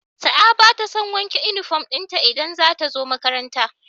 Sa'a batason wanke inufom dinta idan zatazo makaranta